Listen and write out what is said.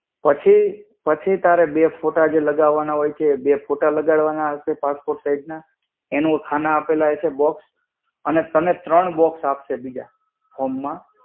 પછી, પછી તારે બે ફોટા જે લગાવવાના હોય છે જે ફોટા લગાડવાના હશે, passport size ના. એનો ખાના આપેલા હશે box. અને તને ત્રણ box આપશે બીજા form માં.